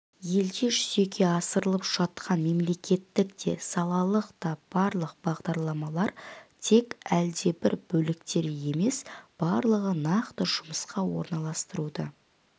елде жүзеге асырылып жатқан мемлекеттік те салалық та барлық бағдарламалар тек әлдебір бөліктері емес барлығы нақты жұмысқа орналастыруды